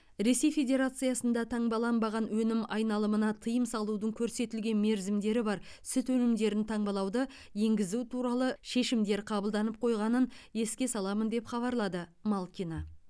ресей федерациясында таңбаланбаған өнім айналымына тыйым салудың көрсетілген мерзімдері бар сүт өнімдерін таңбалауды енгізу туралы шешімдер қабылданып қойғанын еске саламын деп хабарлады малкина